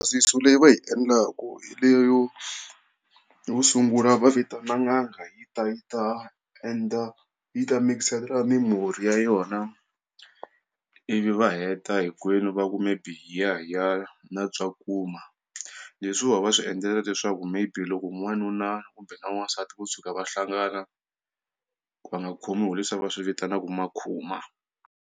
leyi va yi endlaka hi leyo yo vo sungula va vitana n'anga yi ta yi ta endla yi ta mix-ela mimirhi ya yona ivi va heta hinkwenu va ku mi biya hiya na leswiwa va swi endlela leswaku maybe loko n'wanuna kumbe na n'wansati ku tshuka va hlangana va nga khomiwi hi leswi va swi vitanaka makhuma.